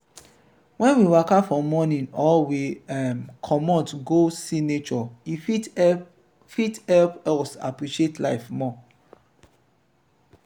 when we waka for morning or we um comot go see nature e fit help fit help us appreciate life more